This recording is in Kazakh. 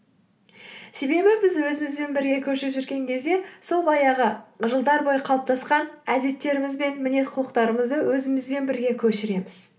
себебі біз өзімізбен бірге көшіп жүрген кезде сол баяғы жылдар бойы қалыптасқан әдеттеріміз бен мінез құлықтарымызды өзімізбен бірге көшіреміз